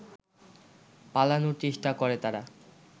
পালানোর চেষ্টা করে তারা